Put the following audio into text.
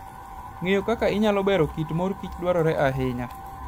Ng'eyo kaka inyalo bero kit mor kich dwarore ahinya.